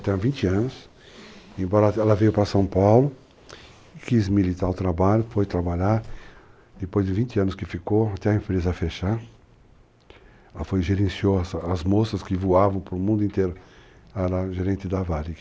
Até 20 anos, uhum, embora ela veio para São Paulo, quis militar o trabalho, foi trabalhar, depois de 20 anos que ficou, até a empresa fechar, ela foi e gerenciou as moças que voavam para o mundo inteiro, ela era a gerente da Varig.